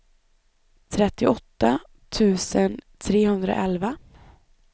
trettioåtta tusen trehundraelva